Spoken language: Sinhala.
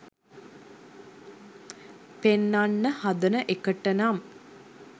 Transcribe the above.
පෙන්නන්න හදන එකටනම්